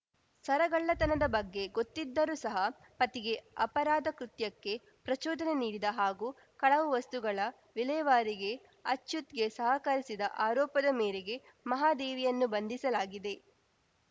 ಸರಗಳ್ಳತನದ ಬಗ್ಗೆ ಗೊತ್ತಿದ್ದರೂ ಸಹ ಪತಿಗೆ ಅಪರಾಧ ಕೃತ್ಯಕ್ಕೆ ಪ್ರಚೋದನೆ ನೀಡಿದ ಹಾಗೂ ಕಳವು ವಸ್ತುಗಳ ವಿಲೇವಾರಿಗೆ ಅಚ್ಯುತ್‌ಗೆ ಸಹಕರಿಸಿದ ಆರೋಪದ ಮೇರೆಗೆ ಮಹಾದೇವಿಯನ್ನು ಬಂಧಿಸಲಾಗಿದೆ